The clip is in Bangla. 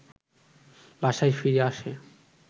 বাসায় ফিরে আসে